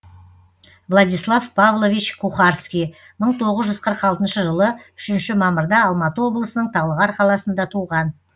владислав павлович кухарский мың тоғыз жүз қырық алтыншы жылы үшінші мамырда алматы облысының талғар қаласында туған